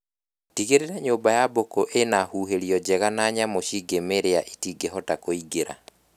Tigĩrĩra nyũmba ya mbũkũ ĩna huhĩrio njega na nyamũ cingĩmĩrĩa itingĩhota kũingĩra